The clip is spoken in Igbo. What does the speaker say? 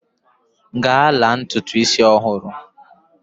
Gaa la ntutu isi ọhụrụ!